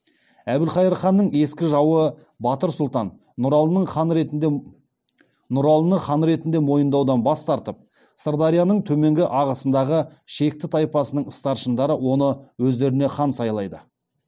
әбілқайыр ханның ескі жауы батыр сұлтан нұралыны хан ретінде мойындаудан бас тартып сырдарияның төменгі ағысындағы шекті тайпасының старшындары оны өздеріне хан сайлайды